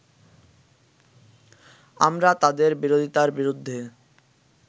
আমরা তাদের বিরোধীতার বিরুদ্ধে